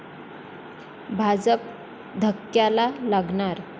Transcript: भाजप धक्क्याला लागणार!